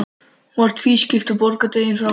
Hún var tvískipt og bogadregin að ofan.